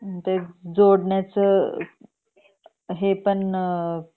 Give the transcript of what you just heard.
जोडण्याच हे पण